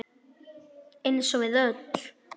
Eins og við öll.